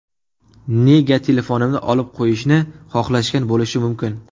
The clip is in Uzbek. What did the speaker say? Nega telefonimni olib qo‘yishni xohlashgan bo‘lishligi mumkin?